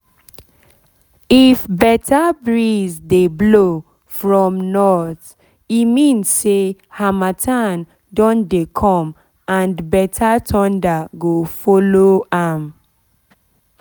if better breeze dey blow from north e mean say harmattan don dey come and better thunder go follow am